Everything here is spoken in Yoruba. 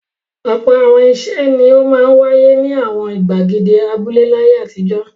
Ọ̀pọ̀ àwọn ìṣe ni ó máa ń wáyé ní àwọn ìgbàgede abúlé láyé àtijọ́.